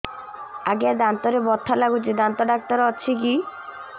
ଆଜ୍ଞା ଦାନ୍ତରେ ବଥା ଲାଗୁଚି ଦାନ୍ତ ଡାକ୍ତର ଅଛି କି